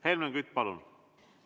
Helmen Kütt, palun!